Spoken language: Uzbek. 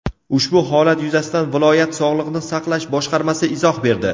Ushbu holat yuzasidan viloyat Sog‘liqni saqlash boshqarmasi izoh berdi.